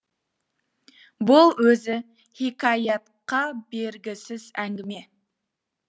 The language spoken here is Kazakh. бұл өзі хикаятқа бергісіз әңгіме